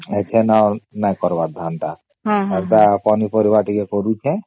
ଏଥନ ନାଇଁ କରିବର ଧାନ ଟା ଆଉ ଟା ପନି ପରିବା ଟିକେ କରୁଛେ